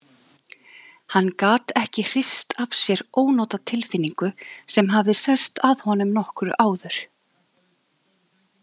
Hann gat ekki hrist af sér ónotatilfinningu sem hafði sest að honum nokkru áður.